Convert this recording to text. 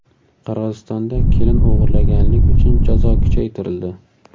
Qirg‘izistonda kelin o‘g‘irlaganlik uchun jazo kuchaytirildi.